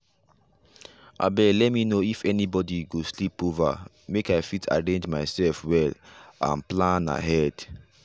abeg let me know if anybody go sleep over make i fit arrange myself well and plan ahead.